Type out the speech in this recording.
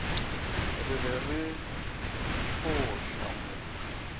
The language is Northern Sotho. re be re fo hlamola